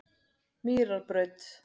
Mýrarbraut